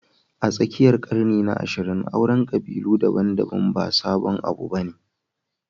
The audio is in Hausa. A tsakiyar ƙarni na 20, auren ƙabilu daban-daban ba sabon abu ba ne